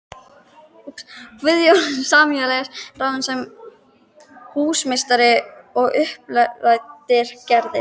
Guðjón Samúelsson ráðinn sem húsameistari og uppdrættir gerðir